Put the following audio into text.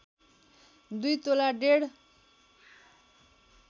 २ तोला डेढ